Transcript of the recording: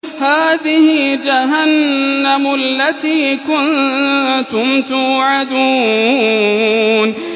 هَٰذِهِ جَهَنَّمُ الَّتِي كُنتُمْ تُوعَدُونَ